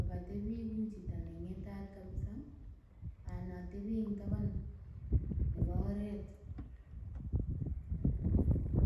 akatebii ku chito neng'etat kabisa anan atebii eng taban nebo oret.